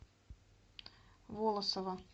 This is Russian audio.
волосово